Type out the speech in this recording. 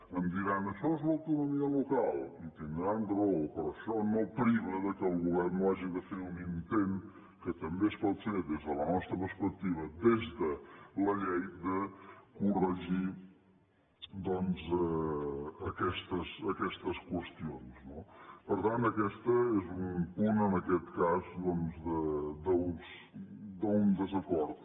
em diran això és l’autonomia local i tindran raó però això no priva que el govern no hagi de fer un intent que també es pot fer des de la nostra perspectiva des de la llei de corregir doncs aquestes qüestions no per tant aquest és un punt en aquest cas doncs d’un desacord